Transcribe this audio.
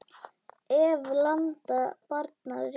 Ef. landa barna ríkja